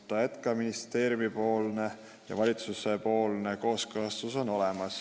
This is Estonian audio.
Nii et meil on olemas ka ministeeriumi ja valitsuse kooskõlastus.